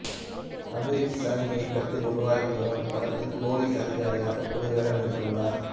அபிரித் சைன் இயக்கத்தில் உருவாகிவரும் இப்படத்தில் போலீஸ் அதிகாரியாக புதுவேடம் ஏற்றுள்ளார்